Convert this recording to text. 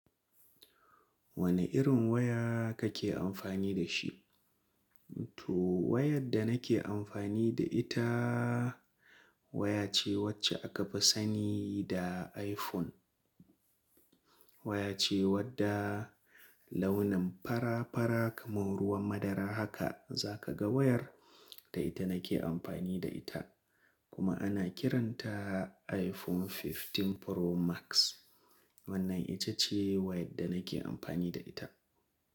Wane irin waya kake amfani da shi? To wayar da nake amfani da ita waya ce wacce aka fi sani da iPhone. Waya ce wadda launin fara fara kamar ruwan madara haka za ka ga wayar da ita nake amfani da ita. Kuma ana kiranta iPhone 15 Pro Max. Wannan ita ce wayar da nake amfani da ita.